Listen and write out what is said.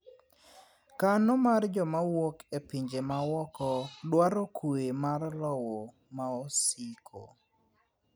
kano mar joma wuok e pinje mawuoko dwaro kwe mar lowo maosiko